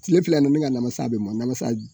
Tile fila ni na, ne ka namasa bɛ mɔ namasa